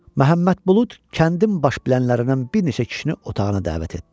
Məhəmməd Bulud kəndin baş bilənlərindən bir neçə kişini otağına dəvət etdi.